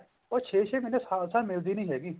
ਉਹ ਛੇ ਛੇ ਮਹੀਨੇ ਸਾਲ ਸਾਲ ਮਿਲਦੀ ਨੀ ਹੈਗੀ